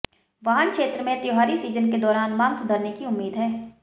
वाहन क्षेत्र में त्योहारी सीजन के दौरान मांग सुधरने की उम्मीद है